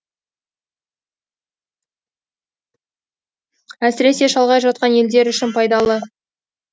әсіресе шалғай жатқан елдер үшін пайдалы